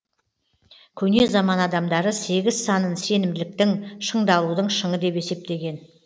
көне заман адамдары сегіз санын сенімділіктің шыңдалудың шыңы деп есептеген